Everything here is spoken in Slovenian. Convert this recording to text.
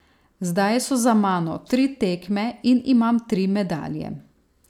Zdaj so za mano tri tekme in imam tri medalje.